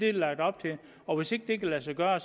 er lagt op til og hvis ikke det kan lade sig gøre er